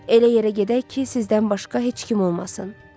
Elə yerə gedək ki, sizdən başqa heç kim olmasın.